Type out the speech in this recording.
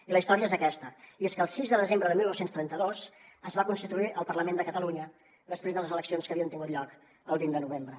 i la història és aquesta i és que el sis de desembre de dinou trenta dos es va constituir el parlament de catalunya després de les eleccions que havien tingut lloc el vint de novembre